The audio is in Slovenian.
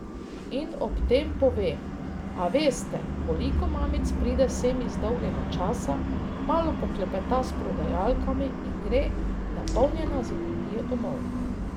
In ob tem pove: 'A veste, koliko mamic pride sem iz dolgega časa, malo poklepeta s prodajalkami in gre napolnjena z energijo domov.